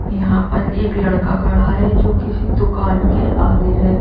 यहां पर एक लड़का खड़ा है जो किसी दुकान के आगे हैं।